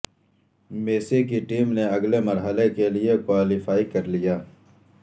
Messi کی team نے اگلے مرحلے کے لیے کوالیفائی کر لیا